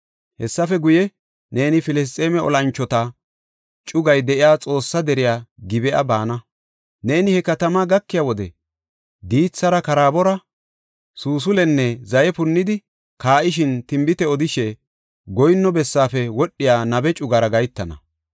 “Hessafe guye, neeni Filisxeeme olanchota cugay de7iya Xoossa deriya Gib7a baana. Neeni he katamaa gakiya wode diithara karaabora, suusul7enne zaye punnidi kaa7ishenne tinbite odishe, goyinno bessaafe wodhiya nabe cugara gahetana.